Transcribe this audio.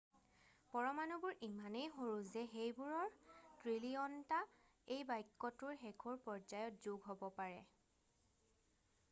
পৰমাণুবোৰ ইমানেই সৰু যে সেইবোৰৰ ট্ৰিলিঅনটা এই বাক্যটোৰ শেষৰ পৰ্যায়ত যোগ হব পাৰে